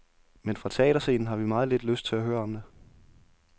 Men fra teaterscenen har vi meget lidt lyst til at høre om det.